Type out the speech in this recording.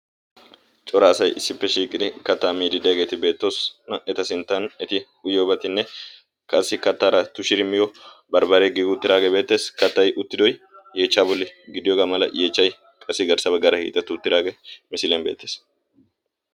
cora asai issippe shiiqiri kattaa miidi de'iyageeti beettoosona. Eta sinttan eti uyiyobatinne qassi kattara tushirimiyo barbbare giiguuttiraagee beettees. Kattai uttidoy yeechchaa bolli giddiyoogaa mala yeechchai qassi garssaba gara hiixetti uttidaagee misilian beettees.